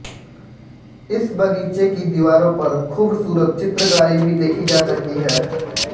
इस बगीचे की दीवारों पर खूबसूरत चित्रकारी भी देखी जा सकती है